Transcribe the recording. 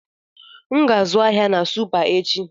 Aga m azụ ahịa na Supa echi.